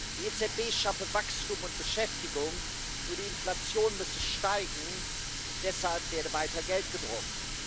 Die EZB schaffe Wachstum und Beschäftigung, nur die Inflation müsse steigen, deshalb werde weiter Geld gedruckt.